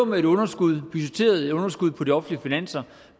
med et underskud underskud på de offentlige finanser